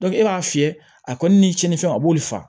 e b'a fiyɛ a kɔni ni cɛni fɛnw a b'olu faga